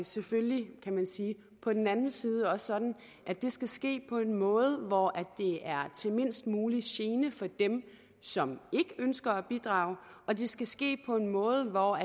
selvfølgelig kan man sige på den anden side også sådan at det skal ske på en måde hvor det er til mindst mulig gene for dem som ikke ønsker at bidrage og det skal ske på en måde hvor